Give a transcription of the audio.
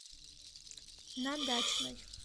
на дачной